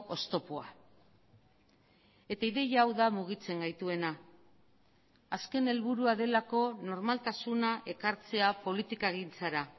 oztopoa eta ideia hau da mugitzen gaituena azken helburua delako normaltasuna ekartzea politikagintzara